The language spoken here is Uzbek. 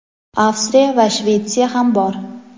Avstriya va Shvetsiya ham bor.